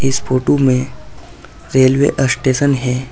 इस फोटो में railway station है।